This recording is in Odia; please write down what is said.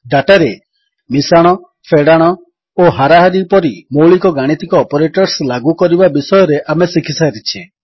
ଡାଟାରେ ମିଶାଣ ଫେଡ଼ାଣ ଓ ହାରାହାରି ପରି ମୌଳିକ ଗାଣିତିକ ଅପରେଟର୍ସ ଲାଗୁକରିବା ବିଷୟରେ ଆମେ ଶିଖିସାରିଛେ